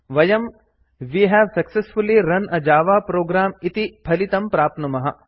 वयं we have successfully run a Java program इति फलितं प्राप्नुमः